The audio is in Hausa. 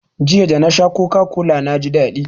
Jiya, da na sha coca-cola na ji daɗi.